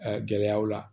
gɛlɛyaw la